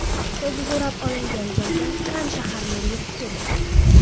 Avtobus o‘rab olingan joyga Kann shahri meri yetib kelgan.